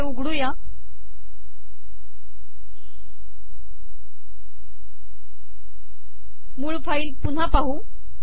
हे उघडूया मूळ फाईल पुन्हा पाहू